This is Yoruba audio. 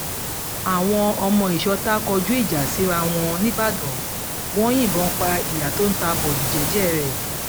àwọn ọmọ ìsọ̀ta kọjú ìjà síra wọn níìbàdàn wọn yìnbọn pa ìyá tó ń ta bọ́ọ̀lì jẹ́ẹ́jẹ́ rẹ́